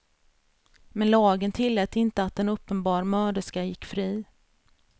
Men lagen tillät inte att en uppenbar mörderska gick fri.